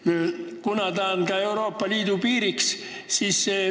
Tegu on ka Euroopa Liidu piiriga.